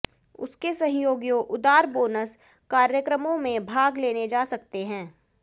उसके सहयोगियों उदार बोनस कार्यक्रमों में भाग लेने जा सकता है